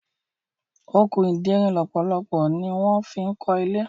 Okùn ìderin lọpọlọpọ ní wan fí kò ilé.